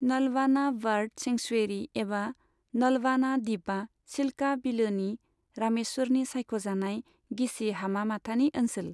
Nalbana bird sanctuary एबा नलबाना दीपआ चिल्का बिलोनि रामेसरनि सायख'जानाय गिसि हामा माथानि ओनसोल।